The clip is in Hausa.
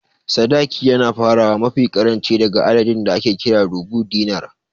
Sadaki yana farawa mafi ƙaranci daga adadin da ake kira "Rubu'u Dinar"